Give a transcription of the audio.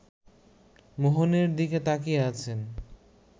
মোহনের দিকে তাকিয়ে আছেন